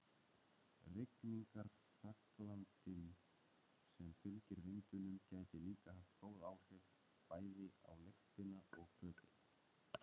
Rigningarhraglandinn sem fylgir vindinum gæti líka haft góð áhrif, bæði á lyktina og fötin.